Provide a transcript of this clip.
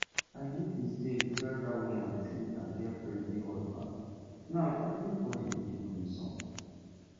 i make mistake tell dat woman say i get plenty husband now everybody dey look me somehow